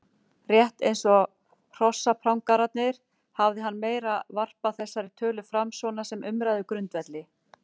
Rétt eins og hrossaprangararnir hafði hann meira varpað þessari tölu fram svona sem umræðugrundvelli.